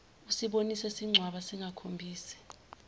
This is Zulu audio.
usibone sincwaba singakhombisi